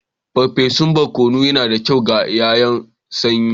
Farfesun barkono yana da kyau ga yanayin sanyi.